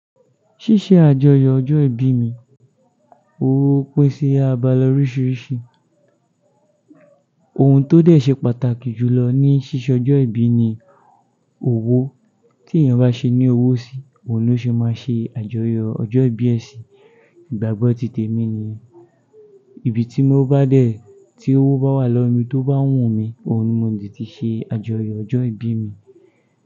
Ṣíṣe àjọyọ̀ ọjọ́ ìbí mi, owó pèsè àbálọ oríṣiríṣi. Ohun tó dé ṣe pàtàkì jùlọ ní ṣíṣe ọjọ́ ìbí ni owó. Tí ènìyàn bá ṣe ní owó sí, òun ló ṣe máa ṣe àjọyọ̀ ọjọ́ ìbí ẹ sí. Ìgbàgbọ́ títè mi nìyẹn. Ibi tí mo bá dé tí owó bá wà lọ́mi tó bá wùn mi, òun ni mo di ti ṣe àjọyọ̀ ọjọ́ ìbí mi.